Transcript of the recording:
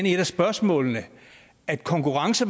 i et af spørgsmålene at konkurrence